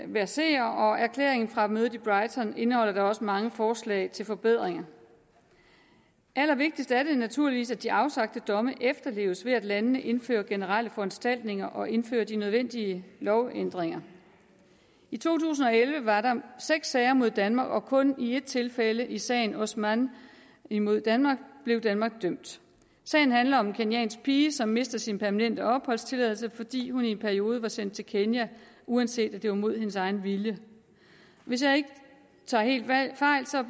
verserer og erklæringen fra mødet i brighton indeholder da også mange forslag til forbedringer allervigtigst er det naturligvis at de afsagte domme efterleves ved at landene indfører generelle foranstaltninger og indfører de nødvendige lovændringer i to tusind og elleve var der seks sager mod danmark og kun i ét tilfælde i sagen osman imod danmark blev danmark dømt sagen handler om en kenyansk pige som mister sin permanente opholdstilladelse fordi hun i en periode var sendt til kenya uanset at det var imod hendes egen vilje hvis jeg ikke tager helt fejl